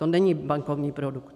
To není bankovní produkt.